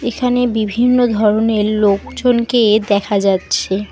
এখানে বিভিন্ন ধরনের লোকজনকে দেখা যাচ্ছে।